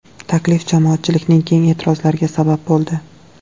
Taklif jamoatchilikning keng e’tirozlariga sabab bo‘ldi.